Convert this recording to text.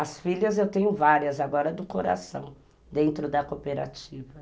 As filhas eu tenho várias, agora do coração, dentro da cooperativa.